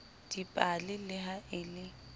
dipale le ha e le